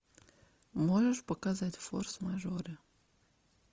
можешь показать форс мажоры